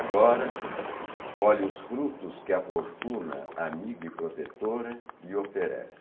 Agora, colhe os frutos que a fortuna amiga e protetora lhe oferece.